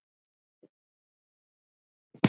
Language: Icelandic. Ég gerði það samt ekki.